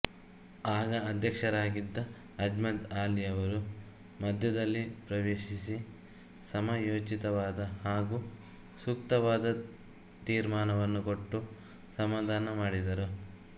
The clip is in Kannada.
ಆಗ ಅಧ್ಯಕ್ಶರಾಗಿದ್ದ ಅಮ್ಜದ್ ಆಲಿಯವರು ಮಧ್ಯದಲ್ಲಿ ಪ್ರವೆಶಿಸಿ ಸಮಯೋಚಿತವಾದ ಹಾಗೂ ಸುಕ್ತವಾದ ತೀರ್ಮಾನವನ್ನು ಕೊಟ್ಟು ಸಮಾಧಾನಮಾಡಿದರು